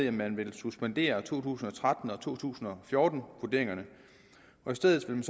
at man suspenderer to tusind og tretten og to tusind og fjorten vurderingerne og i stedet vil